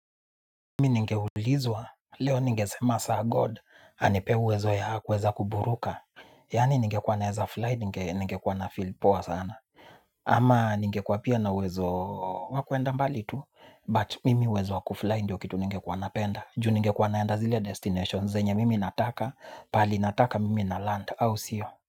Mimi ningeulizwa, leo ningesema sir God, anipee uwezo ya kuweza kuburuka. Yani ningekuwa naeza fly, ningekuwa na feel poa sana. Ama ningekuwa pia na uwezo wa kuenda mbali tu But mimi uwezo wa kufly ndiyo kitu ningekuwa napenda. Ju ningekuwa naenda zile destinations, zenye mimi nataka pali nataka mimi na land au sio.